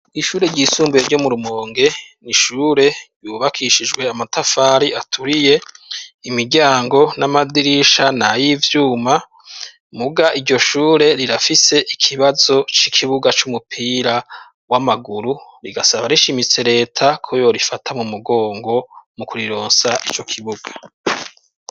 Ishure ry'isumbuye ryo mu Rumonge nishure yubakishijwe amatafari aturiye imiryango n'amadirisha na y'ivyuma muga iryo shure rirafise ikibazo c'ikibuga c'umupira w'amaguru rigasaba rishimitse leta ko yo rifata mu mugongo mu kurironsa icyo kibuga.